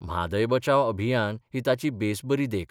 म्हादय बचाव अभियान ही ताची बेस बरी देख.